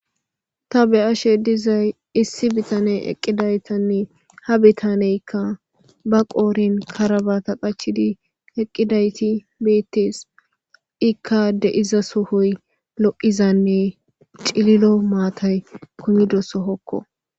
Ta be ashe dizay issi bitaney eqqidaytanne ha bitaneykka ba qoorin karabata qachidi eqqidayti beettes ikka deiza sohoy lo'izanne cililo maatay kumidoso hokko.